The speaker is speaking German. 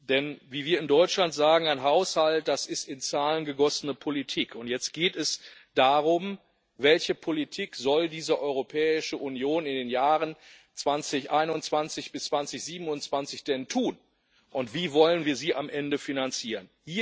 Denn wie wir in Deutschland sagen Ein Haushalt ist in Zahlen gegossene Politik. Und jetzt geht es darum Welche Politik soll diese Europäische Union in den Jahren 2021 bis 2027 denn verfolgen und wie wollen wir sie am Ende finanzieren?